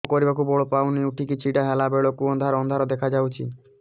କାମ କରିବାକୁ ବଳ ପାଉନି ଉଠିକି ଛିଡା ହେଲା ବେଳକୁ ଅନ୍ଧାର ଅନ୍ଧାର ଦେଖା ଯାଉଛି